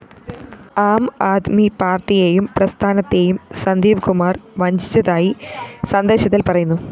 ആം ആദ്മി പാര്‍ട്ടിയേയും പ്രസ്ഥാനത്തേയും സന്ദീപ്കുമാര്‍ വഞ്ചിച്ചതായി സന്ദേശത്തില്‍ പറയുന്നു